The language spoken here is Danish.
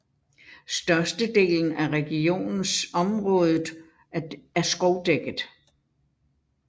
Størstedelen af regionens området er skovdækket